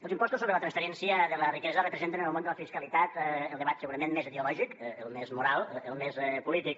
els impostos sobre la transferència de la riquesa representen en el món de la fiscalitat el debat segurament més ideològic el més moral el més polític